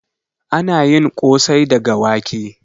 Ana yin ƙosai daga wake.